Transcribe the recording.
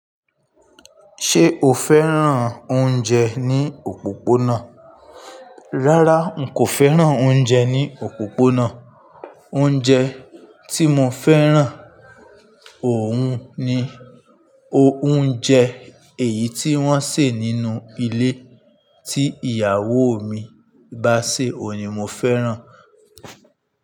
Ṣé o fẹ́ràn oúnjẹ ní òpópónà? Rárá, n kò fẹ́ràn oúnjẹ ní òpópónà. Oúnjẹ tí mo fẹ́ràn òun ni, oúnjẹ èyí tí wọ́n sè nínú ilé tí ìyàwó mi bá sè òun ni mo fẹ́ràn.